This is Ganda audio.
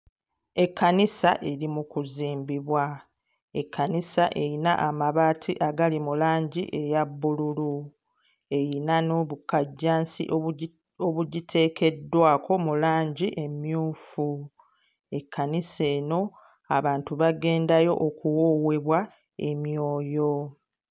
Ekkanisa eri mu kuzimbibwa. Ekkanisa erina amabaati agali mu langi eya bbululu eyina n'obukajjansi obugi obugiteekeddwako mu langi emmyufu. Ekkanisa eno abantu bagendayo okuwoowebwa emyoyo.